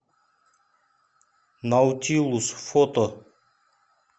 наутилус фото